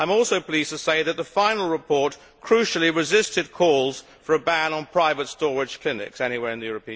I am also pleased to say that the final report crucially resisted calls for a ban on private storage clinics anywhere in the European Union.